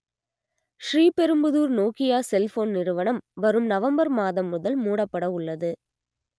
Sriperumbudur Nokia cellphone நிறுவனம் வரும் November மாதம் முதல் மூடப்பட உள்ளது